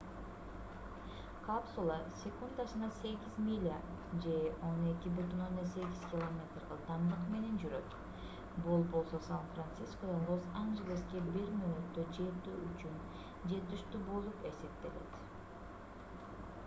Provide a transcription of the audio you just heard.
капсула секундасына 8 миля же 12,8 км ылдамдык менен жүрөт бул болсо сан-францискодон лос-анжелеске бир мүнөттө жетүү үчүн жетиштүү болуп эсептелет